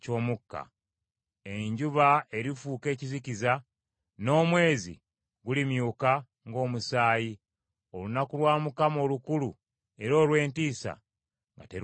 Enjuba erifuuka ekizikiza, n’omwezi gulimyuka ng’omusaayi, olunaku lwa Mukama olukulu era olw’entiisa nga terunnatuuka.